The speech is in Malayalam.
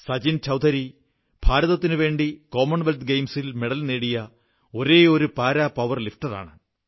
സചിൻ ചൌധരി ഭാരതത്തിനുവേണ്ടി കോമൺവെല്ത്ത് ഗെയിംസിൽ മെഡൽ നേടിയ ഒരേയൊരു പാരാ പവർ ലിഫ്റ്ററാണ്